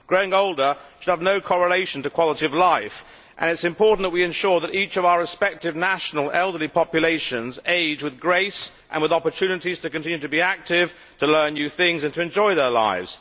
Growing older should have no correlation to quality of life and it is important that we ensure that all of our respective national elderly populations age with grace and with opportunities to continue to be active, to learn new things and to enjoy their lives.